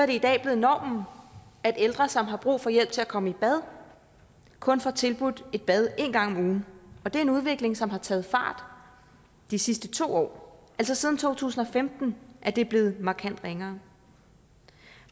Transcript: det i dag blevet normen at ældre som har brug for hjælp til at komme i bad kun får tilbudt et bad en gang om ugen og det er en udvikling som har taget fart de sidste to år altså siden to tusind og femten er det blevet markant ringere